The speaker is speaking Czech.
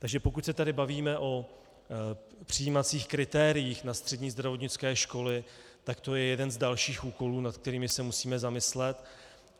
Takže pokud se tady bavíme o přijímacích kritériích na střední zdravotnické školy, tak to je jeden z dalších úkolů, nad kterými se musíme zamyslet.